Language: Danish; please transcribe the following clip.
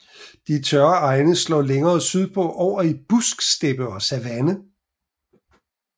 De tørre egne slår længere sydpå over i busksteppe og savanne